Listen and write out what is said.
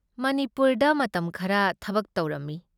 ꯃꯅꯤꯄꯨꯔꯗ ꯃꯇꯝ ꯈꯔ ꯊꯕꯛ ꯇꯧꯔꯝꯃꯤ ꯫